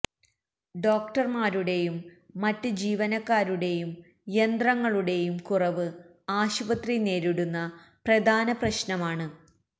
ഡോക്ടർമാരുടെയും മറ്റ് ജീവനക്കാരുടെയും യന്ത്രങ്ങളുടെയും കുറവ് ആശുപത്രി നേരിടുന്ന പ്രധാന പ്രശ്നമാണ്